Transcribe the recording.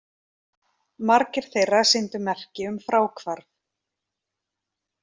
Margir þeirra sýndu merki um fráhvarf